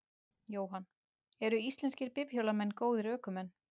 Jóhann: Eru íslenskir bifhjólamenn góðir ökumenn?